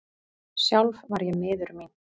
Sjálf var ég miður mín.